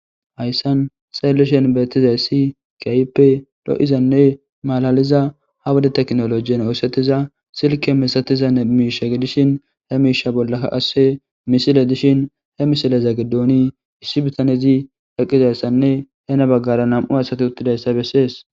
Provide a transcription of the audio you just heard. Hayssan saelleshen beettizay si kaype do7izanne malaliza ha wode teknolojiyen oosetiza silke misatiza ne miisha gidishin he miisha bollakka asse misile dishin he misileza giddooni issi bitanezi eqqizayssanne hena baggara nam7u hasati uttidayssa bessees.